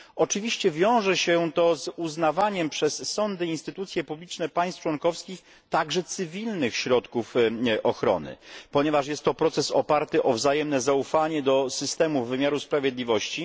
Oczywiście wiąże się to z uznawaniem przez sądy i instytucje publiczne państw członkowskich także cywilnych środków ochrony, ponieważ jest to proces oparty na wzajemnym zaufaniu do systemów wymiaru sprawiedliwości.